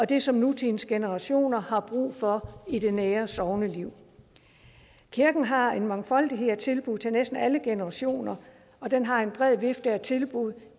det som nutidens generationer har brug for i det nære sogneliv kirken har en mangfoldighed af tilbud til næsten alle generationer og den har en bred vifte af tilbud